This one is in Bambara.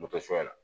Moto suɲɛ na